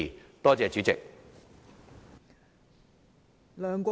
多謝代理主席。